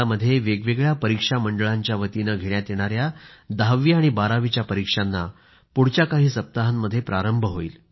देशभरामध्ये वेगवेगळ्या परीक्षा मंडळांच्यावतीनं घेण्यात येणाया दहावी आणि बारावीच्या परीक्षांना पुढच्या काही सप्ताहांमध्ये प्रारंभ होईल